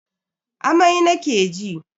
Amai nake ji.